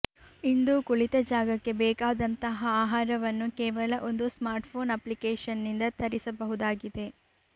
ಇಂದು ಕುಳಿತ ಜಾಗಕ್ಕೆ ಬೇಕಾದಂತಹ ಆಹಾರವನ್ನು ಕೇವಲ ಒಂದು ಸ್ಮಾರ್ಟ್ಫೋನ್ ಅಪ್ಲಿಕೇಶನ್ನಿಂದ ತರಿಸಬಹುದಾಗಿದೆ